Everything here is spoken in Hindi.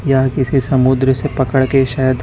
यह किसी समुद्र से पकड़ के शायद--